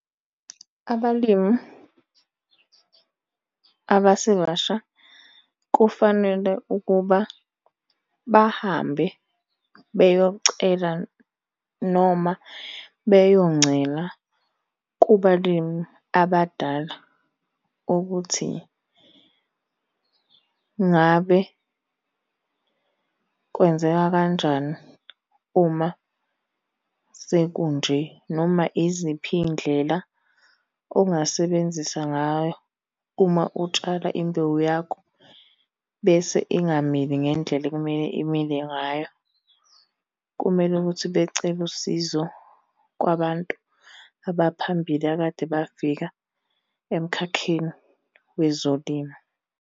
Abalimi abasebasha kufanele ukuba bahambe beyocela noma beyoncela kubalimi abadala ukuthi ngabe kwenzeka kanjani uma sekunje noma iziphi iy'ndlela ongasebenzisa ngayo uma utshala imbewu yakho bese ingamili ngendlela ekumele imile ngayo. Kumele ukuthi becele usizo kwabantu abaphambili akade bafika emkhakheni wezolimo.